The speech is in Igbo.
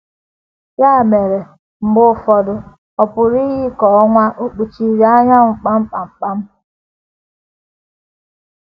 Ya mere, mgbe ụfọdụ, ọ pụrụ iyi ka ọnwa ò kpuchiri anyanwụ kpam kpam kpam kpam.